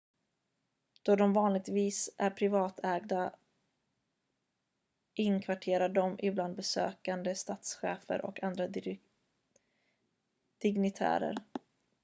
då de vanligtvis är privatägda inkvarterar de ibland besökande statschefer och andra dignitärer